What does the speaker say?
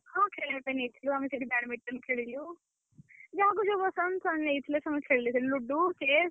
ହଁ ଖେଳିବା ପାଇଁ ନେଇଥିଲୁ, ଆମେ ସେଠି badminton ଖେଳିଲୁ। ଯାହାକୁ ଯୋଉ ପସନ୍ଦ ସେମାନେ ନେଇଥିଲେ। ସେମାନେ ଖେଳିଲେ ludo, chess ।